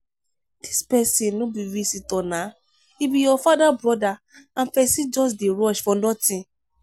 dis person no be visitor naa e be your father broda and person just dey rush for nothing.